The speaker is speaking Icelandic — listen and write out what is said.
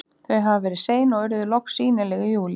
Þau hafa verið sein og urðu loks sýnileg í júlí.